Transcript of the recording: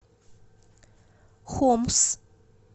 хомс